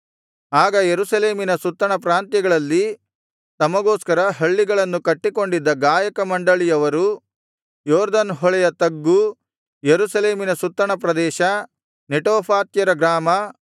ಆಗ ಯೆರೂಸಲೇಮಿನ ಸುತ್ತಣ ಪ್ರಾಂತ್ಯಗಳಲ್ಲಿ ತಮಗೋಸ್ಕರ ಹಳ್ಳಿಗಳನ್ನು ಕಟ್ಟಿಕೊಂಡಿದ್ದ ಗಾಯಕ ಮಂಡಳಿಯವರು ಯೊರ್ದನ್ ಹೊಳೆಯ ತಗ್ಗು ಯೆರೂಸಲೇಮಿನ ಸುತ್ತಣಪ್ರದೇಶ ನೆಟೋಫಾತ್ಯರ ಗ್ರಾಮ